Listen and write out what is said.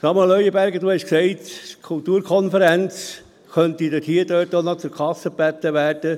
Samuel Leuenberger, Sie haben gesagt, die Kulturkonferenz könnte auch noch zur Kasse gebeten werden.